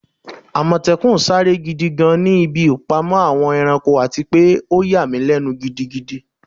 Amòtékùn sare gidi gan ni ibi ipamọ Awon eranko ati pe o yà mi lenu gidigidi